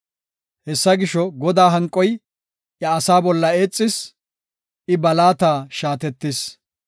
Hessa gisho, Godaa hanqoy iya asaa bolla eexis; I ba laata shaatetis.